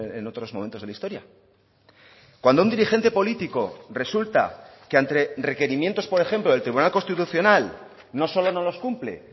en otros momentos de la historia cuando un dirigente político resulta que ante requerimientos por ejemplo del tribunal constitucional no solo no los cumple